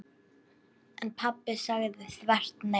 En pabbi sagði þvert nei.